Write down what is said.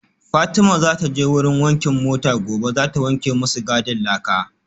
Fatima zataje wurin wankin mota gobe zata wanke masu gadin laka